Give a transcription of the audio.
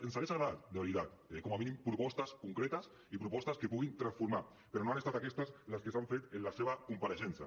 ens hagués agradat de veritat com a mínim propostes concretes i propostes que puguin transformar però no han estat aquestes les que s’han fet en la seva compareixença